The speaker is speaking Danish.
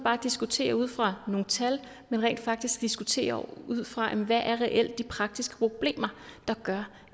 diskuterer ud fra nogle tal men rent faktisk diskuterer ud fra hvad der reelt er de praktiske problemer der gør